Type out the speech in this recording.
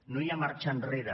no hi ha marxa enrere